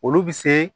Olu bɛ se